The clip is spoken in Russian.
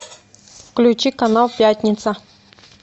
включи канал пятница